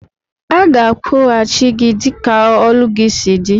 Aga akwụghachi gi dika ọlụ gi si di.